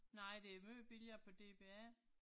Nej det er meget billigere på DBA